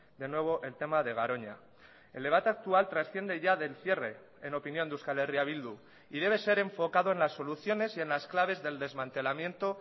de nuevo el tema de garoña el debate actual trasciende ya del cierre en opinión de euskal herria bildu y debe ser enfocado en las soluciones y en las claves del desmantelamiento